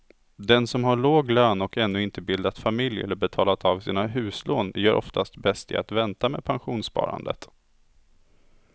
Den som har låg lön och ännu inte bildat familj eller betalat av sina huslån gör oftast bäst i att vänta med pensionssparandet.